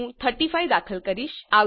હું 35 દાખલ કરીશ